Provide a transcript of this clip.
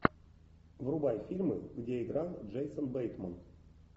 врубай фильмы где играл джейсон бейтман